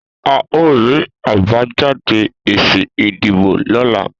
A o ri àbájáde èsì ìdìbò lọ́la